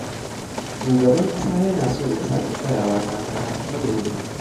Shugaban ƙasa yana so ya sake tsayawa takara a karo na biyu.